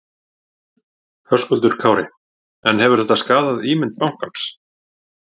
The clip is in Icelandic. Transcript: Höskuldur Kári: En hefur þetta skaðað ímynd bankans?